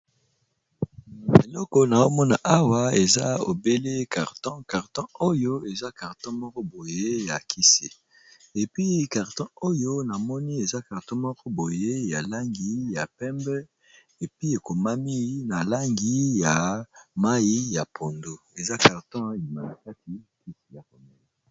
Na eleko na omona awa eza ebele carton carton oyo eza carton moko boye ya kise epi carton oyo na moni eza carton moko boye ya langi ya pembe epi ekomami na langi ya mai ya pondo eza carton imalikati tit ya rome